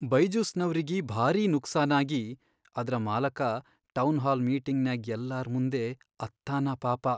ಬೈಜುಸ್ನವ್ರಿಗಿ ಭಾರೀ ನುಕ್ಸಾನಾಗಿ ಅದ್ರ ಮಾಲಕ ಟೌನ್ಹಾಲ್ ಮೀಟಿಂಗ್ನ್ಯಾಗ್ ಯಲ್ಲಾರ್ ಮುಂದೇ ಅತ್ತಾನ ಪಾಪ.